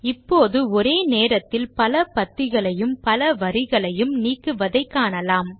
இப்போது ஒரே நேரத்தில் பல பத்திகளையும் பல வரிகளையும் நீக்குவதை காணலாம்